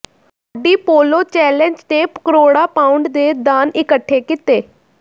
Audi polo challenge ਨੇ ਕਰੋੜਾਂ pound ਦੇ ਦਾਨ ਇਕੱਠੇ ਕੀਤੇ